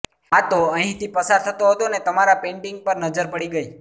આ તો અહીંથી પસાર થતો હતો ને તમારા પેઇન્ટિંગ પર નજર પડી ગઈ